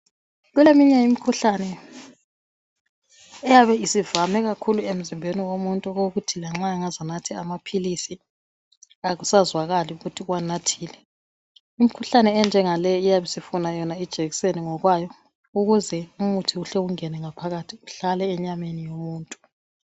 Kuleminye imikhuhlane eyabe isivame kakhulu emzimbeni womuntu okokuthi lanxa angaze anathe amaphilisi akusazwakali ukuthi uwanathile. Imkhuhlane enjengale iyabe isifuna yona ijekiseni ngokwayo ukuze umuthi uhle ungene ngaphakathi uhlale enyameni yomuntu.